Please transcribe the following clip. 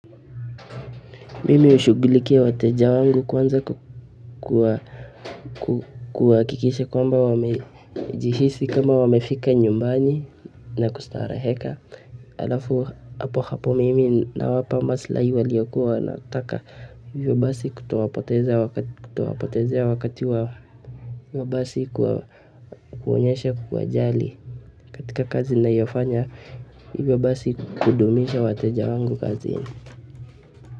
Mimi hushughulikia wateja wangu kwanza kwa kuhakikisha kwamba wamejihisi kama wamefika nyumbani na kustareheka halafu hapo hapo mimi nawapa maslahi waliyokuwa wanataka hivyo basi kutowapotezea wakati wa basi kuonyesha kuwajali katika kazi ninayofanya hivyo basi kudumisha wateja wangu kazini.